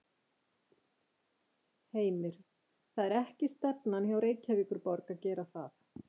Heimir: Það er ekki stefnan hjá Reykjavíkurborg að gera það?